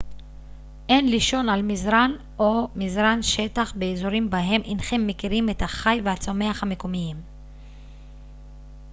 אין לישון על מזרן או מזרן שטח באזורים בהם אינכם מכירים את החי והצומח המקומיים